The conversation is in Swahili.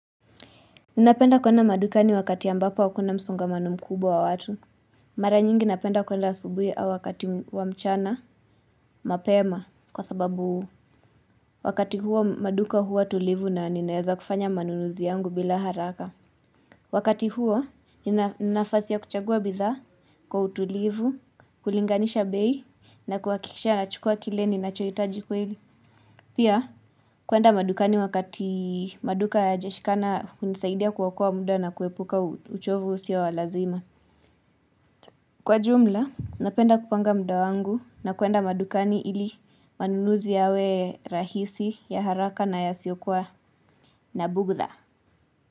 Ninapenda kwenda madukani wakati ambapo hakuna msungamano mkubwa wa watu. Mara nyingi napenda kwenda asubui au wakati wa mchana mapema kwa sababu wakati huo maduka huwa tulivu na ninaweza kufanya manunuzi yangu bila haraka. Wakati huo nina nafasi ya kuchagua bidhaa kwa utulivu, kulinganisha bei na kuhakikisha nachukua kile ni nachohitaji kweli. Pia kwenda madukani wakati maduka hayajashikana hunisaidia kuokoa muda na kuepuka uchovu usio wa lazima. Kwa jumla, napenda kupanga muda wangu na kwenda madukani ili manunuzi yawe rahisi ya haraka na yasiokua na bughudha.